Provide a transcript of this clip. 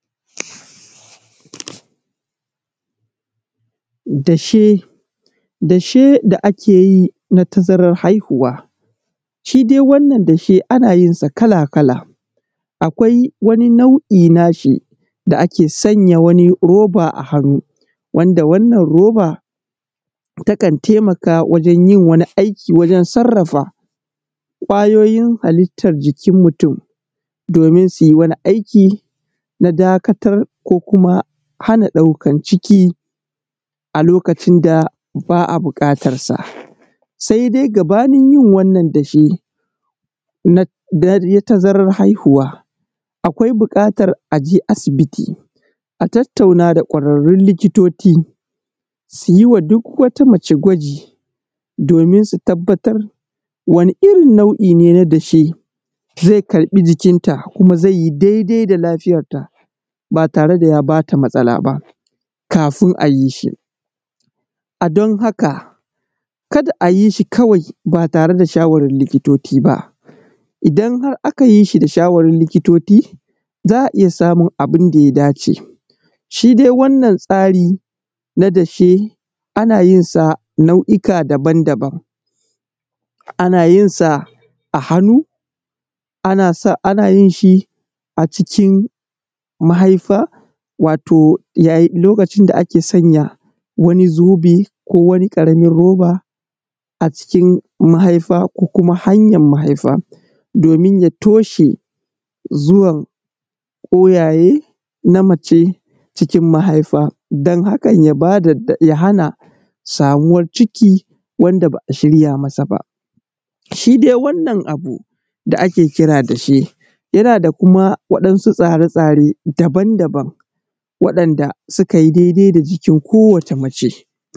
Dashe, dashe da ake yi na tazarar haihuwa. Shi dai ana yinsa kala-kala akwai wani nau'i na shi da ake sanya wani roba a hannu wansa wannan roba takan taimaka wajen yi wannan aiki waje sarrafa ƙwayoyin halittar jikin mutum domin su yi mana aiki na dakatar da kuma hana ɗaukar ciki a kokacin da ba a buƙatarsa. Sai dai gabanin yin wannan zan ce na tazarar haihuwa akwai buƙatar a je asibiti a tattauna da ƙwararrun likitoci su yi wa duk wata mace gwaji domin su tabbatar wani irin nau'in ne na dashe zai karɓi jikknta zai yi daidai da lagiyar ta ba tare da ta ba ta matsala ba sai a yi shi. A don haka kada a yi shi kawai ba tare da shawarin likitoci ba, idan har aka yi shi da za a iya samun abun da ya dace. Shi dai wannan tsari na dashe ana yin sa nau'ika daban-daban, ana yin sa a hannu ana yin sa a cikin mahaifa lokacin da ake sanya wani zobe ko wani karamin roba a cikin mahaifa ko kuma hanyar mahaifa. Domin ya tashe zuwan kwayaye na mace cikin mahaifa, don haka idan ya ba da ya hana samuwar ciki wanda ba shirya masa ba. Shi dai wannan abu da ake kira dashe yana da kuma wadansu tsare-tsaren daban-daban wandanda suka yi daidai da jikin kowacce mace.